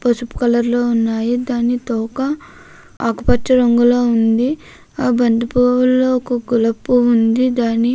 పానుపు రంగులో ఉంది. వాటి మధ్యలో గులాబీ పువ్వు కూడా ఉంది.